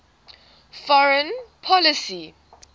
foreign policy